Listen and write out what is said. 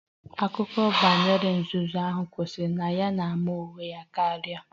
Akụkọ banyere ogre nzuzu ahụ kwụsịrị na ya na-ama onwe ya karịa